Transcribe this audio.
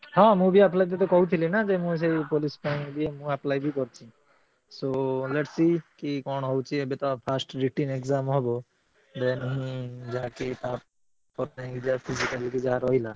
ହଁ ମୁଁ ବି apply ତତେ କହୁଥିଲି ନା ଯେ, ମୁଁ ସେଇ police ପାଇଁ ବି ମୁଁ apply ବି କରିଚି, so let see କି କଣ ହଉଛି ଏବେ ତ first written exam ହବ। then ଯାହା କି ତା ପରେ ଯାଇ ଯାହା physical କି ଯାହା ରହିଲା।